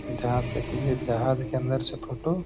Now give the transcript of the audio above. जहां से की ये जहाज के अंदर से फोटो --